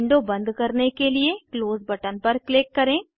window बंद करने के लिए क्लोज़ बटन पर क्लिक करें